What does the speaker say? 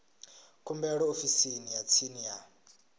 khumbelo ofisini ya tsini ya